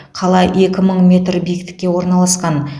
қала екі мың метр биіктікке орналасқан